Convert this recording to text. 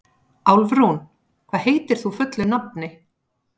Álfrún, hvað heitir þú fullu nafni?